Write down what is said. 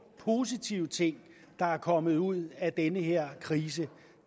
positive ting der er kommet ud af den her krise jo